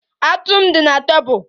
Atu m di na tebụl